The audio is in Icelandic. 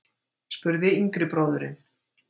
spurði yngri bróðirinn.